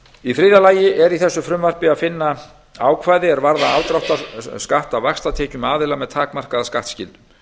í þriðja lagi er í þessu frumvarpi að finna ákvæði er varða afdráttarskatt af vaxtatekjum aðila með takmarkaða skattskyldu